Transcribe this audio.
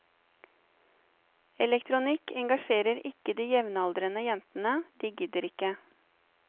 Elektronikk engasjerer ikke de jevnaldrende jentene, de gidder ikke.